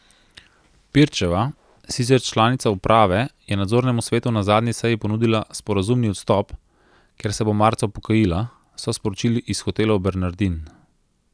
Pirčeva, sicer članica uprave, je nadzornemu svetu na zadnji seji ponudila sporazumni odstop, ker se bo marca upokojila, so sporočili iz Hotelov Bernardin.